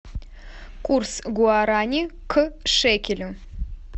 курс гуарани к шекелю